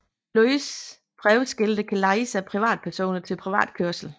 Løse prøveskilte kan lejes af privatpersoner til prøvekørsel